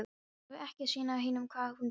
Hann var ekki að sýna hinum hvað hann fékk!